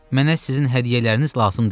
Mənə sizin hədiyyələriniz lazım deyil.